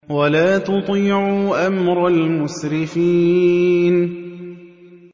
وَلَا تُطِيعُوا أَمْرَ الْمُسْرِفِينَ